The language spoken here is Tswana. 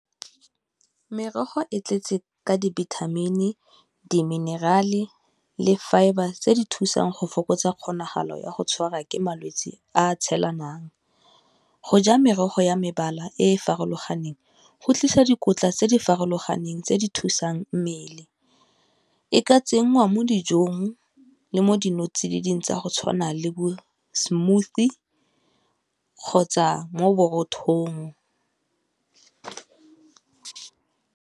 Merogo e tletse ka dibithamini, diminerale, le fibre tse di thusang go fokotsa kgonagalo ya go tshwarwa ke malwetse a a tshelanang. Go ja merogo ya mebala e e farologaneng go tlisa dikotla tse di farologaneng tse di thusang mmele, e ka tsenngwa mo dijong le mo dinotsididi tsa go tshwana le bo smoothie kgotsa mo borothong.